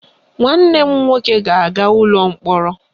Nwanne m nwoke ga-aga ụlọ mkpọrọ